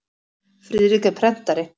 Friðrik er prentari.